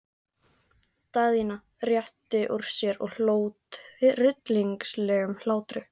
Daðína rétti úr sér og hló tryllingslegum hlátri.